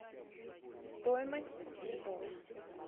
стоимость цветов